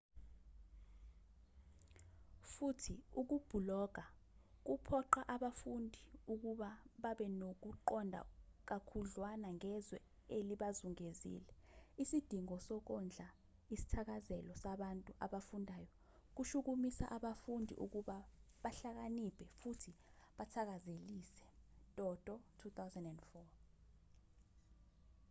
futhi ukubhuloga kuphoqa abafundi ukuba babenokuqonda kakhudlwana ngezwe elibazungezile. isidingo sokondla isithakazelo sabantu abafundayo kushukumisa abafundi ukuba bahlakaniphe futhi bathakazelise toto 2004